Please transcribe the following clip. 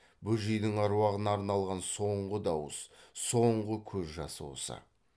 бөжейдің аруағына арналған соңғы дауыс соңғы көз жасы осы